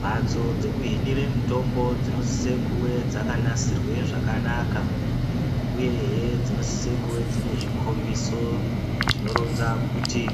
Mhatso dzekuhinire mitombo dzinosise kuwe dzakanasirwe zvakanaka uyehe dzinosise kuve dzine zvikhombiso zvinoronza kuti